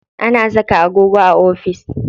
Ana saka agogo a ofis.